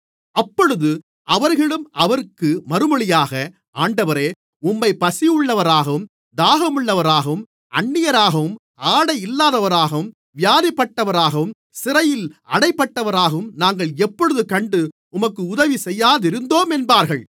அப்பொழுது அவர்களும் அவருக்கு மறுமொழியாக ஆண்டவரே உம்மைப் பசியுள்ளவராகவும் தாகமுள்ளவராகவும் அந்நியராகவும் ஆடையில்லாதவராகவும் வியாதிப்பட்டவராகவும் சிறையில் அடைக்கப்பட்டவராகவும் நாங்கள் எப்பொழுது கண்டு உமக்கு உதவி செய்யாதிருந்தோம் என்பார்கள்